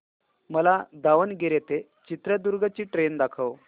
मला दावणगेरे ते चित्रदुर्ग ची ट्रेन दाखव